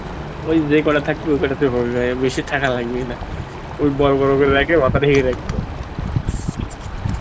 ওই যেই কটা থাক ওই কটাতেই হবে ভাই বেশি থাকা লাগবেই না ওই বড় বড় করে রেখে মাথাটা ঢেকে রাখবো